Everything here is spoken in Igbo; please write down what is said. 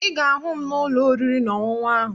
Ị ga-ahụ m n'ụlọ oriri na ọṅụṅụ ahụ